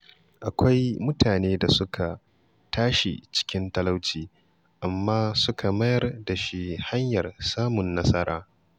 Akwai mutane da suka tashi cikin talauci amma suka mayar da shi hanyar samun nasara.